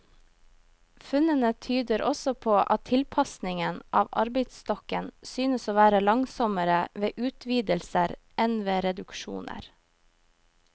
Funnene tyder også på at tilpasningen av arbeidsstokken synes å være langsommere ved utvidelser enn ved reduksjoner.